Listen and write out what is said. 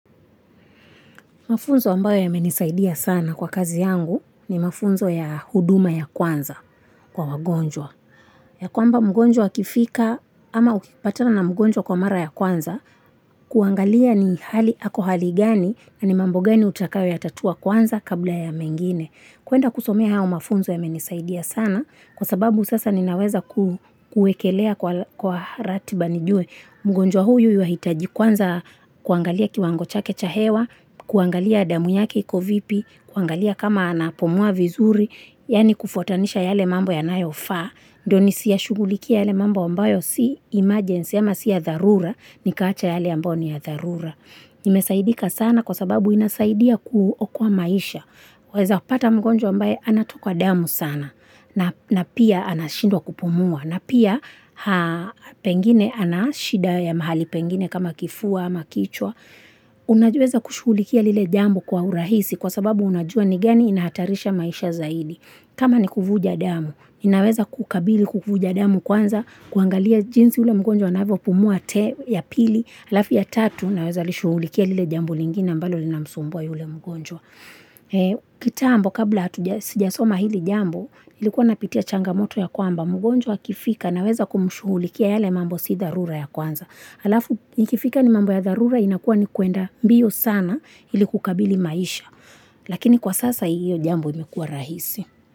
Mafunzo ambayo yamenisaidia sana kwa kazi yangu ni mafunzo ya huduma ya kwanza kwa wagonjwa. Ya kwamba mgonjwa akifika ama ukipatana na mgonjwa kwa mara ya kwanza, kuangalia ni hali ako hali gani na ni mambo gani utakayoyatatua kwanza kabla ya mengine. Kuenda kusomea hayo mafunzo yamenisaidia sana kwa sababu sasa ninaweza kuekelea kwa ratiba nijue. Mgonjwa huyu yuwahitaji kwanza kuangalia kiwango chake cha hewa, kuangalia damu yake iko vipi, kuangalia kama anapumua vizuri, yaani kufuatanisha yale mambo yanayofaa. Ndio nisiyashughulikie yale mambo ambayo si emergency ama si ya dharura, nikaacha yale ambayo ni ya dharura. Nimesaidika sana kwa sababu inasaidia kuokoa maisha. Waeza pata mgonjwa ambaye anatoka damu sana na pia anashindwa kupumua na pia pengine ana shida ya mahali pengine kama kifua ama kichwa. Unajiweza kushughulikia lile jambo kwa urahisi kwa sababu unajua ni gani inahatarisha maisha zaidi. Kama ni kuvuja damu, inaweza kukabili kuvuja damu kwanza, kuangalia jinsi ule mgonjwa anavyopumua te ya pili alafu ya tatu. Unaweza lishughulikia lile jambo lingine ambalo linamsumbua yule mgonjwa. Kitambo kabla sijasoma hili jambo nilikuwa napitia changamoto ya kwamba mgonjwa akifika naweza kumshughulikia yale mambo si dharura ya kwanza. Halafu ikifika ni mambo ya dharura inakuwa ni kuenda mbio sana ili kukabili maisha Lakini kwa sasa hiyo jambo imekuwa rahisi.